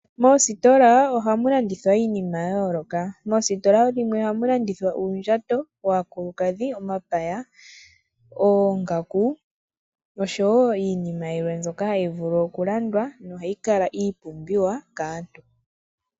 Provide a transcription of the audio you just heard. Moostola ohamu landithwa iinima yayooloka. Moostola dhimwe ohamu landithwa uundjato waakulukadhi , omapaya, oongaku noshowoo iinima yimwe mbyoka hayi vulu okulandwa nohayi kala iipumbiwa kaantu.